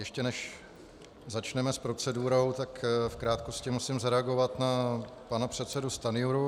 Ještě než začneme s procedurou, tak v krátkosti musím zareagovat na pana předsedu Stanjuru.